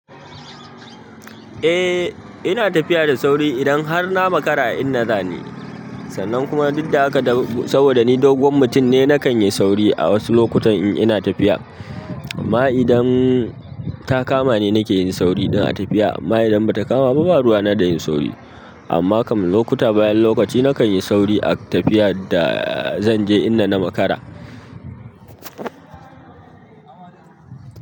Eh ina tafiya da sauri idan har na makara inda zani. Sannan kuma duk da haka saboda ni doguwar mutum ne nakan yi sauri a wasu lokutan in ina tafiya. Ma idan ta kama ni nake yin sauri idan ina tafiya. Ma idan bata kama ba, ba ruwa na da yin sauri. Amma kam lokuta, bayan lokaci nakan yi sauri a tafiyar da zan je ina na makara.